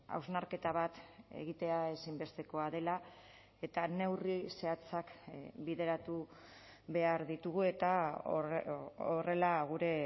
hausnarketa bat egitea ezinbestekoa dela eta neurri zehatzak bideratu behar ditugu eta horrela gure